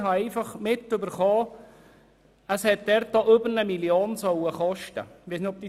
Ich habe einfach mitbekommen, dass der Umbau dort über 1 Mio. Franken gekostet haben soll.